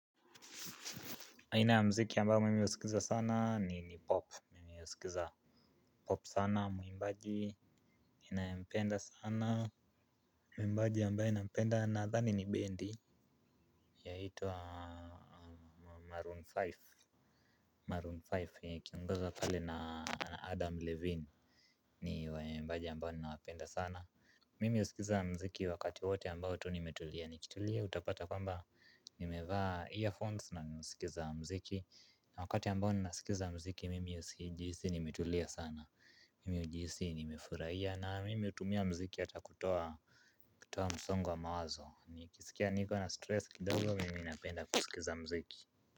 Aina ya mziki ambayo mimi husikiza sana ni pop, mimi husikiza pop sana muimbaji ninayempenda sana muimbaji ambaye nampenda nadhani ni bendi. Yaitwa Maroon tano Maroon tano ikiongozwa pale na Adam Levine. Ni waimbaji ambao ninawapenda sana. Mimi huskiza mziki wakati wote ambao tu nimetulia nikitulia utapata kwamba nimevaa earphones na nasikiza mziki. Na wakati ambao ninasikiza mziki mimi hujihisi nimetulia sana. Mimi hujihisi nimefurahia na mimi hutumia mziki hata kutoa msongo wa mawazo. Nikisikia niko na stress kidogo mimi napenda kusikiza mziki.